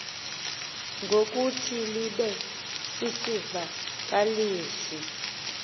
ngokuthi libe sisivakalisi